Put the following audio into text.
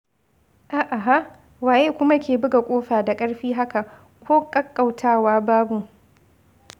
A’aha! Waye kuma ke buga ƙofa da ƙarfi haka ko ƙaƙƙautawa babu?